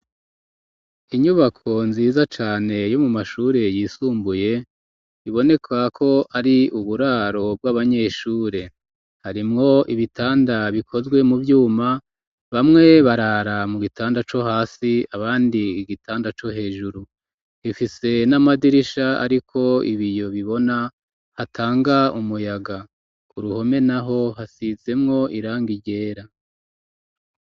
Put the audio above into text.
Inyubako nziza cane yo mu mashure yisumbuye, iboneka ko ari uburaro bw'abanyeshure; harimwo ibitanda bikozwe mu vyuma, bamwe barara mu gitanda co hasi, abandi igitanda co hejuru; ifise n'amadirisha ariko ibiyo bibona, atanga umuyaga; kuruhome naho hasizemwo irangi ryera.